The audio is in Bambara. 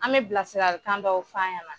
An bɛ bilasiralikan dɔw fɔ a ɲɛna.